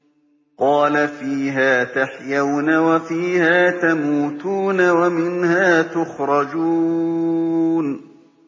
قَالَ فِيهَا تَحْيَوْنَ وَفِيهَا تَمُوتُونَ وَمِنْهَا تُخْرَجُونَ